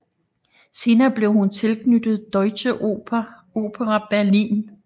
Senere blev hun tilknyttet Deutsche Oper Berlin